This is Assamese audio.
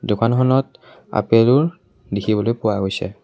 দোকানখনত আপেলো দেখিবলৈ পোৱা গৈছে।